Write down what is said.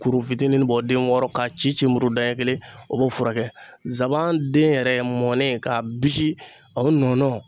Kuru fitinin bɔ den wɔɔrɔ k'a cici muru da ɲɛ kelen o b'o furakɛ. Zaban den yɛrɛ mɔnen k'a bisi o nɔnɔ